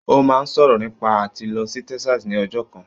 Ó máa ń sọ̀rọ̀ nípa àti lọ sí Texas ni ọjọ́ kan